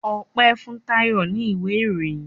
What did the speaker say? Ope fun Tayo ní ìwé ìròyìn